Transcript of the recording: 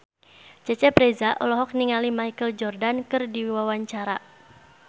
Cecep Reza olohok ningali Michael Jordan keur diwawancara